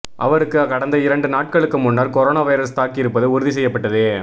அவருக்கு கடந்த இரண்டு நாட்களுக்கு முன்னர் கொரோனா வைரஸ் தாக்கியிருப்பது உறுதி செய்யப்பட்டது